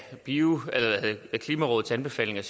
klimarådets anbefalinger